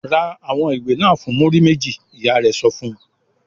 "Ra àwọn ìwé náà fún múrí méjì!" Ìyá rẹ̀ sọ fún un.